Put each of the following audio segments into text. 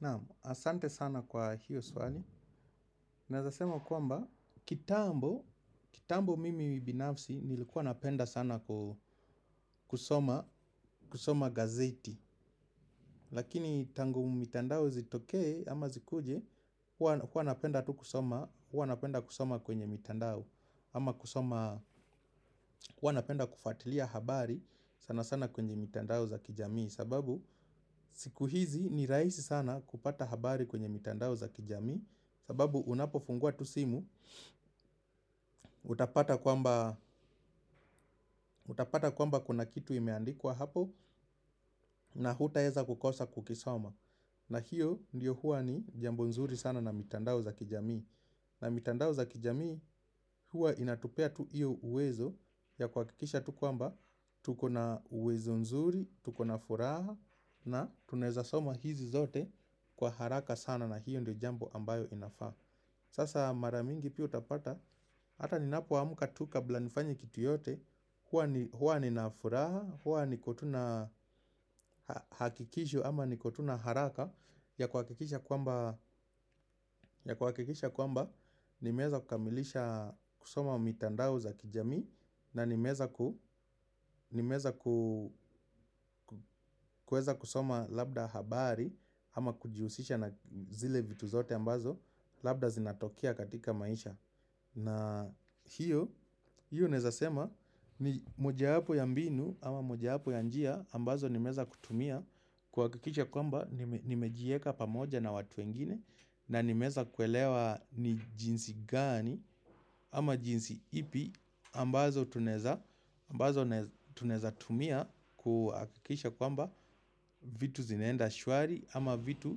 Naam, asante sana kwa hiyo swali. Naweza sema kwamba, kitambo, kitambo mimi binafsi nilikuwa napenda sana kusoma gazeti. Lakini tangu mitandao zitokee ama zikuje, huwa napenda tu kusoma kwenye mitandao. Ama kusoma, hua napenda kufatilia habari sana sana kwenye mitandao za kijamii sababu, siku hizi ni rahisi sana kupata habari kwenye mitandao za kijamii. Sababu unapofungua tu simu, utapata kwamba kuna kitu imeandikwa hapo na hutaweza kukosa kukisoma na hiyo ndio huwa ni jambo nzuri sana na mitandao za kijamii. Na mitandao za kijamii huwa inatupea tu hiyo uwezo ya kuhakikisha tu kwamba, tuko na uwezo nzuri, tuko na furaha na tunaweza soma hizi zote kwa haraka sana na hiyo ndio jambo ambayo inafaa. Sasa mara mingi pia utapata hata ninapoamka tu kabla nifanye kitu yoyote huwa ni huwa nina furaha, huwa niko tu na hakikisho ama niki tu na haraka ya kuhakikisha kwamba, ya kuhakikisha kwamba nimeweza kukamilisha kusoma mitandao za kijamii na nimeweza ku kuweza kusoma labda habari ama kujihusisha na zile vitu zote ambazo labda zinatokea katika maisha. Na hiyo, hiyo naweza sema ni mojawapo ya mbinu ama mojawapo ya njia ambazo nimeweza kutumia kuhakikisha kwamba nimejiweka pamoja na watu wengine na nimeweza kuelewa ni jinsi gani ama jinsi ipi ambazo tunaweza tumia kuhakikisha kwamba vitu zinaenda shwari ama vitu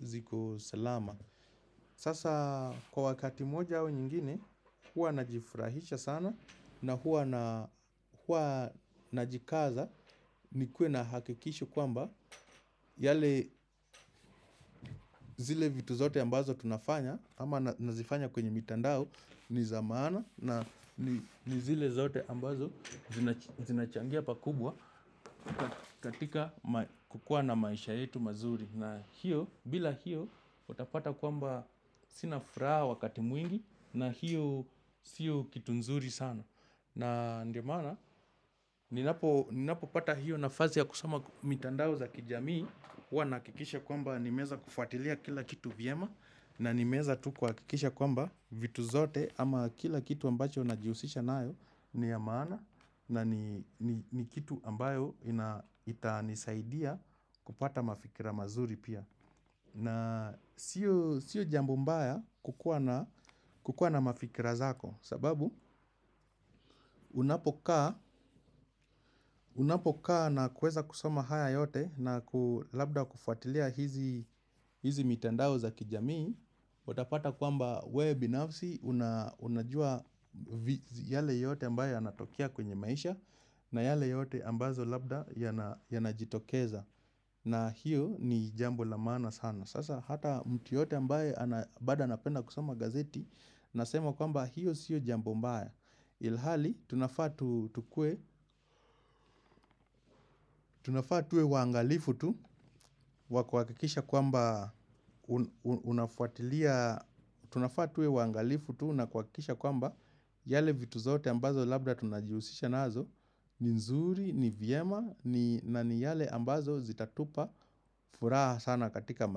ziko salama. Sasa kwa wakati moja au nyingine huwa najifurahisha sana na huwa najikaza nikuwe na hakikisho kwamba yale zile vitu zote ambazo tunafanya ama nazifanya kwenye mitandao ni za maana na zile zote ambazo zinachangia pakubwa katika kukua na maisha yetu mazuri. Na hio, bila hio, utapata kwamba sina furaha wakati mwingi na hio sio kitu nzuri sana. Na ndio maana, ninapopata hiyo nafasi ya kusoma mitandao za kijamii huwa nahakikisha kwamba nimeweza kufatilia kila kitu vyema na nimeweza tu kuhakikisha kwamba vitu zote ama kila kitu ambacho najihusisha nayo ni ya maana na ni ni kitu ambayo itanisaidia kupata mafikira mazuri pia. Na sio jambo mbaya kukuwa na mafikira zako sababu unapokaa na kuweza kusoma haya yote na labda kufuatilia hizi mitandao za kijamii utapata kwamba we binafsi unajua yale yote ambayo yanatokea kwenye maisha. Na yale yote ambazo labda yanajitokeza na hiyo ni jambo la maana sana. Sasa hata mtu yoyote ambaye bado anapenda kusoma gazeti anasema kwamba hiyo sio jambo mbaya. Ilhali, tunafaa tuwe waangalifu tu wa kuhakikisha kwamba unafuatilia, tunafaa tuwe waangalifu tu na kuhakikisha kwamba yale vitu zote ambazo labda tunajihusisha nazo ni nzuri, ni vyema, na ni yale ambazo zitatupa furaha sana katika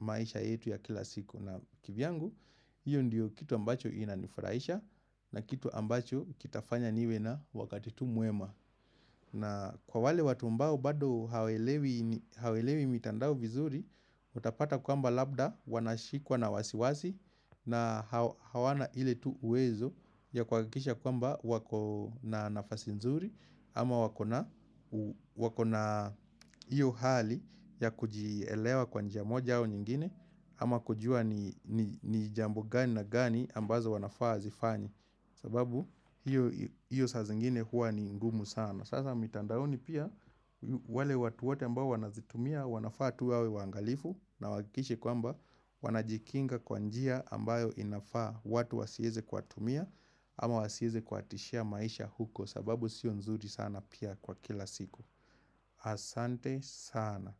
maisha yetu ya kila siku. Na kivyangu, hio ndio kitu ambacho inanifurahisha na kitu ambacho kitafanya niwe na wakati tu mwema na kwa wale watu ambao bado hawaelewi mitandao vizuri, utapata kwamba labda wanashikwa na wasiwasi na hawana ile tu uwezo ya kuhakikisha kwambo wako na nafasi nzuri ama wako na wako na hio hali ya kujielewa kwa njia moja au nyingine. Ama kujua ni jambo gani na gani ambazo wanafaa wazifanye sababu hio saa zingine huwa ni ngumu sana. Sasa mitandaoni pia wale watu wote ambao wanazitumia wanafaa tu wawe waangalifu na wahakikishime kwamba wanajikinga kwa njia ambayo inafaa. Watu wasiweze kuwatumia ama wasiweze kuwatishia maisha huko sababu sio nzuri sana pia kwa kila siku. Asante sana.